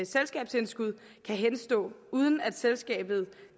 selskabsindskud kan henstå uden at selskabet